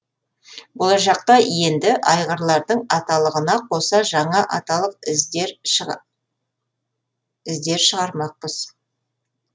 болашақта енді айғырлардың аталығына қоса жаңа аталық іздер шығармақпыз